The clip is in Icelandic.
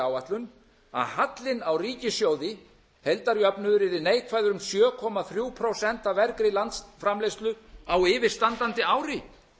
áætlun að hallinn á ríkissjóði heildarjöfnuður yrði sjö komma þrjú prósent af vergri landsframleiðslu á yfirstandandi ári